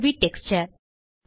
UV texture